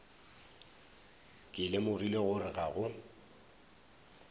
ke lemogile gore ga go